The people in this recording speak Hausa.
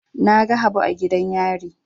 Na ga Habu a gidan yari.